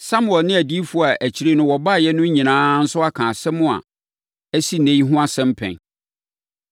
“Samuel ne adiyifoɔ a akyire no wɔbaeɛ no nyinaa nso aka asɛm a asi ɛnnɛ yi ho asɛm pɛn.